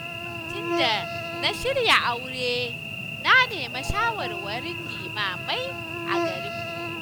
Lokacin da na shirya aure na nemi shawarwarin limamai a garinmu